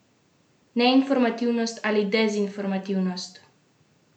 Neinformiranost ali dezinformiranost?